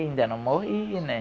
Ainda não morri, né?